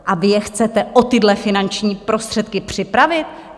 A vy je chcete o tyhle finanční prostředky připravit?